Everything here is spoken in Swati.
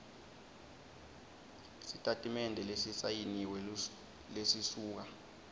sitatimende lesisayiniwe lesisuka